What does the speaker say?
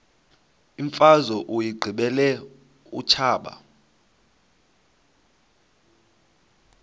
imfazwe uyiqibile utshaba